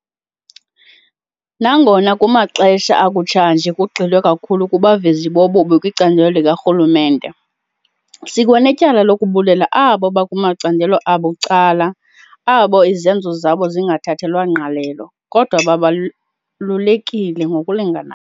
Nangona kumaxesha akutshanje kugxilwe kakhulu kubavezi bobubi kwicandelo likarhulumente, sikwanetyala lokubulela abo bakumacandelo abucala abo izenzo zabo zingathathelwanga ngqalelo, kodwa babalulekile ngokulinganayo.